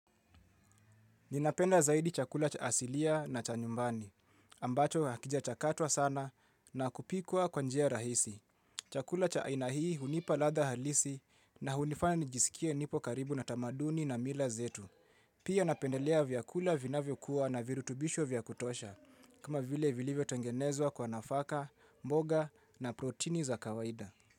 Ninapenda zaidi chakula cha asilia na cha nyumbani. Ambacho hakijachakatwa sana na kupikwa kwa njia rahisi. Chakula cha aina hii hunipa ladha halisi na hunifanya nijisikie nipo karibu na tamaduni na mila zetu. Pia napendelea vyakula vinavyo kuwa na virutubisho vyakutosha. Kama vile vilivyo tengenezwa kwa nafaka, mboga na protini za kawaida.